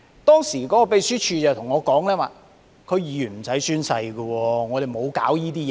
當時秘書處告訴我，區議員無須宣誓，沒有這需要。